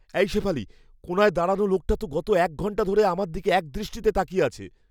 এই শেফালি, কোণায় দাঁড়ানো লোকটা তো গত এক ঘন্টা ধরে আমার দিকে একদৃষ্টে তাকিয়ে আছে।